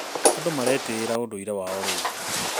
Andũ maretĩĩra ũndũire wao wa rĩu.